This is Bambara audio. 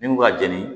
Min kun ka jɛni